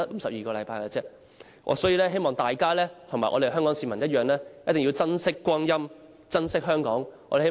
所以，我希望大家和香港市民同樣珍惜光陰、珍惜香港。